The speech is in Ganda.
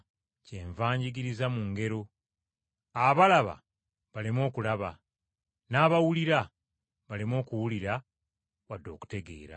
Kyenva njigiriza mu ngero: “Abalaba baleme okulaba, n’abawulira baleme okuwulira wadde okutegeera.